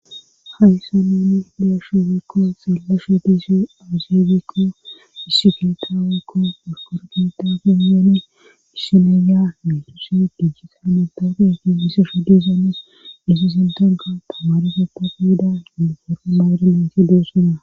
hayssa neeni deeshu fikko xeeleshe diise azaagikko issiketaawekko eskorgitafe yeene isseneya metusi gijjisa metafi ti hissesho dizone isi sintanka tamare goppofi hida yindufoore mayda nayti dossona